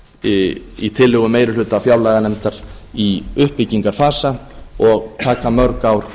í tillögu meiri hluta fjárlaganefndar í uppbyggingarfasa og taka mörg ár